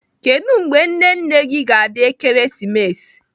Kedụ mgbe nne nne gị ga-abịa Ekeresimesi?